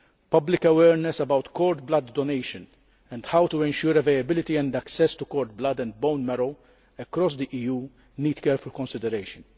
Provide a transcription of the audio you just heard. Public awareness about cord blood donation and how to ensure availability and access to cord blood and bone marrow across the EU need careful consideration.